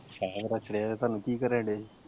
ਰਖਲਿਆ ਤੁਹਾਨੂੰ ਕੀ ਕਰਨ ਡੇ ਜੇ?